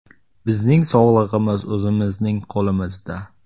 Bizning sog‘lig‘imiz o‘zimizning qo‘limizda.